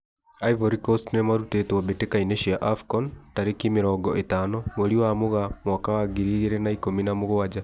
Ivory Coast nĩmarũtĩtwo mbĩtĩka-inĩ cia AFCON tarĩki mĩrongo ĩtano mweri wa Mũgaa mwaka wa ngiri igĩri na ikũmi na mũgwanja.